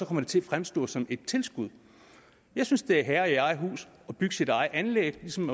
det til at fremstå som et tilskud jeg synes det er at være herre i eget hus at bygge sit eget anlæg ligesom